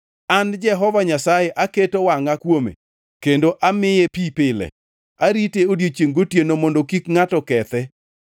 An Jehova Nyasaye, aketo wangʼa kuome; kendo amiye pi pile. Arite odiechiengʼ gotieno mondo kik ngʼato kethe.